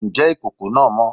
Ǹjẹ́ ìkòkò náà mọ́?